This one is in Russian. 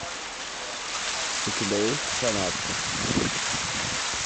у тебя есть фанатка